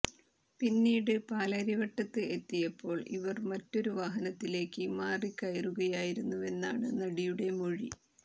പിന്നീട് പാലാരിവട്ടത്ത് എത്തിയപ്പോൾ ഇവർ മറ്റൊരു വാഹനത്തിലേക്ക് മാറി കയറുകയായിരുന്നുവെന്നാണ് നടിയുടെ മൊഴി